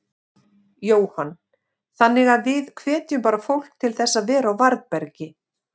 Jóhann: Þannig að við hvetjum bara fólk til þess að vera á varðbergi?